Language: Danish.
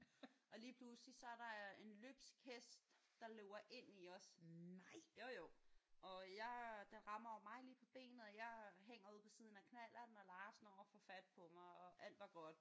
Og lige pludselig så er der en løbsk hest der løber ind i os jo jo og jeg den rammer jo mig lige på benet og jeg hænger ude på siden af knallerten og Lars når at få fat på mig og alt var godt